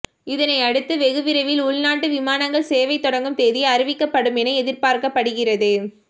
இதனையடுத்து வெகுவிரைவில் உள்நாட்டு விமானங்கள் சேவை தொடங்கும் தேதி அறிவிக்கப்படும் என எதிர்பார்க்கப்படுகிறது